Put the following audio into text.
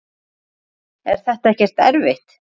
Hödd: Er þetta ekkert erfitt?